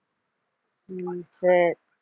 உம் சரி